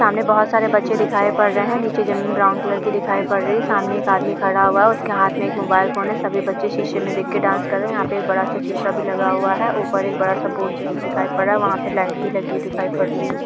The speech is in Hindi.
सामने बहुत सारे बच्चे दिखाई पड़ रहें हैं नीचे जमीन ब्राउन कलर की दिखाई पड़ रही है सामने एक आदमी खड़ा हुआ है उसके हाथ में एक मोबाइल फ़ोन है सभी बच्चे शीशे में देख के डांस कर रहें है यहाँ पे एक बड़ा सा शीशा भी लगा हुआ हैऊपर एक बड़ा सा बोर्ड जैसा दिखाई पड़ रहा हैं वहाँ पे एक लाइट भी लगी हुई दिखाई पड़ रही है।